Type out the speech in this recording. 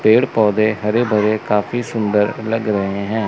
पेड़ पौधे हरे भरे काफी सुंदर लग रहे हैं।